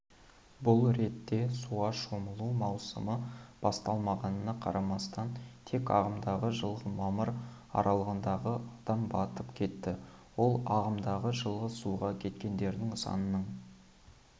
бұл ретте суға шомылу маусымы басталмағанына қарамастан тек ағымдағы жылғы мамыр аралығында адам батып кетті ол ағымдағы жылғы суға кеткендердің санының